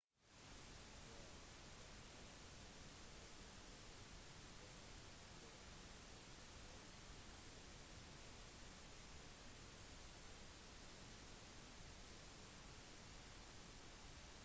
rør som kalles arterier fører blod bort fra hjertet og rør som kalles årer fører det tilbake til hjertet de minste rørene kalles kapillærer